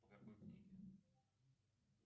по какой книге